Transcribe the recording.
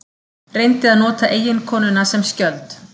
Reyndi að nota eiginkonuna sem skjöld